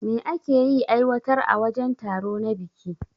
Me ake yi aiwatar a wajen taro na biki?